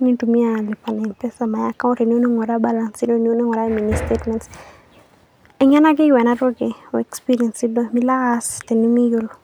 nintumia lipa na m pesa. My account tiniyou ninguraa balance inono nilo ainguraa mini statement. Eng'eno ake eyiou ena toki o experience milo ake duo alo aas tenemiuiolo.